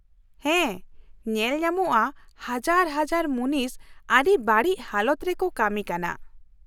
ᱦᱮᱸ, ᱧᱮᱞ ᱧᱟᱢᱚᱜᱼᱟ ᱦᱟᱡᱟᱨ ᱦᱟᱡᱟᱨ ᱢᱩᱱᱤᱥ ᱟᱹᱰᱤ ᱵᱟᱹᱲᱤᱡ ᱦᱟᱞᱚᱛ ᱨᱮᱠᱚ ᱠᱟᱹᱢᱤ ᱠᱟᱱᱟ ᱾